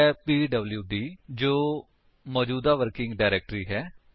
ਉਹ ਹੈ ਪੀਡਬਲਿਊਡੀ ਜੋ ਮੌਜੂਦਾ ਵਰਕਿੰਗ ਡਾਇਰੇਕਟਰੀ ਹੈ